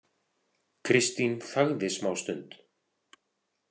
Kristín þagði smástund.